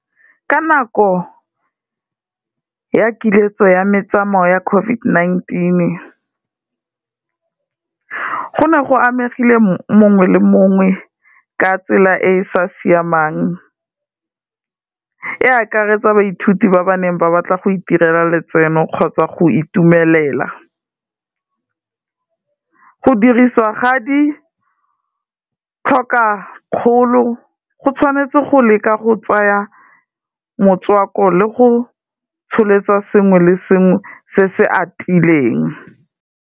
Ka nako ya kiletso ya metsamao ya COVID-19, go ne go amegile mongwe le mongwe ka tsela e e sa siamang e akaretsa baithuti ba ba neng ba batla go itirela letseno kgotsa go itumelela, go dirisiwa ga di tlhokakgolo, go tshwanetse go leka go tsaya motswako le go tsholetsa sengwe le sengwe se se atileng.